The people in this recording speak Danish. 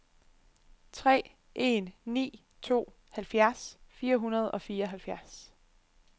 tre en ni to halvfjerds fire hundrede og fireoghalvfjerds